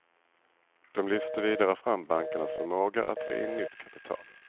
De lyfter vidare fram bankernas förmåga att dra in nytt kapital.